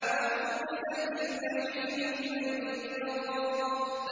وَبُرِّزَتِ الْجَحِيمُ لِمَن يَرَىٰ